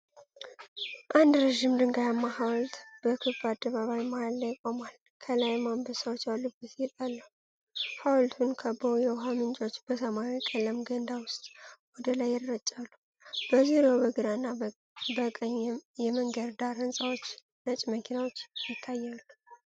አንድ ረዥም፣ ድንጋያማ ሐውልት በክብ አደባባይ መሃል ላይ ቆሟል፣ ከላይም አንበሳዎች ያሉበት ጌጥ አለው። ሐውልቱን ከበው የውኃ ምንጮች በሰማያዊ ቀለም ገንዳ ውስጥ ወደ ላይ ይረጫሉ። በዙሪያው በግራ እና በቀኝ የመንገድ ዳር ህንጻዎችና ነጭ መኪኖች ይታያሉ።